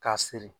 K'a siri